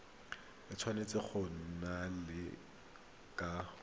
e tshwanetse go neelana ka